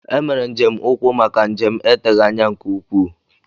E mere njem ụkwụ maka njem eteghị anya nke ukwuu